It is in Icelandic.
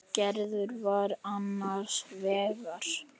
Gerður var annars vegar.